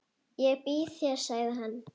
Ég býð þér, sagði hann.